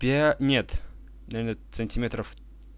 пять нет нет сантиметров